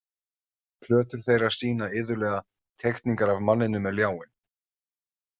Plötur þeirra sýna iðulega teikningar af manninum með ljáinn.